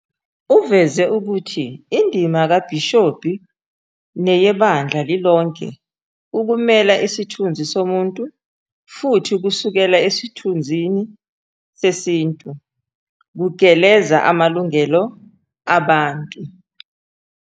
Uveze ukuthi "indima kabhishobhi neyebandla lilonke ukumela isithunzi somuntu, futhi kusukela esithunzi sesintu kugeleza amalungelo abantu ".